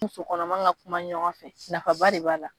Muso kɔnɔma ka kuma ɲɔgɔn fɛ nafaba de b'a la.